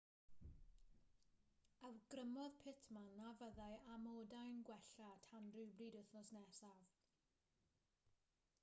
awgrymodd pittman na fyddai amodau'n gwella tan rywbryd wythnos nesaf